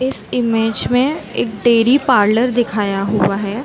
इस इमेज मैं एक डेरी पार्लर दिखाया हुआ है।